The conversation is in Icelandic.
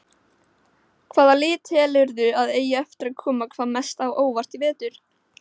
Hvaða lið telurðu að eigi eftir að koma hvað mest á óvart í vetur?